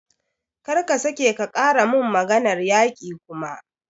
Kar ka sake ka ƙara mun maganar yaƙi kuma!